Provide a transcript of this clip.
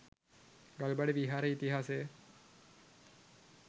ගල්බඩ විහාරයේ ඉතිහාසය